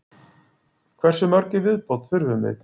Hversu mörg í viðbót þurfum við?